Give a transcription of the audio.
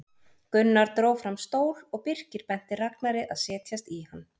Gunnar dró fram stól og Birkir benti Ragnari að setjast í hann.